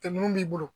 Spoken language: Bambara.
Tɛmɛnen b'i bolo